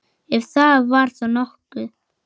Ef það var þá nokkuð.